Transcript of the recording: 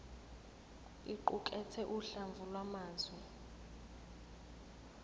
iqukathe uhlamvu lwamazwi